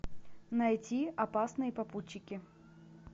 найти опасные попутчики